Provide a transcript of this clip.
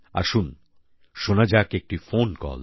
আসুন শোনা যাক একটি ফোন কল